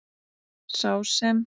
Sá sem.